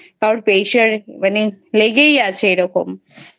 কারোর Pressure মানে লেগেই আছে এরকম।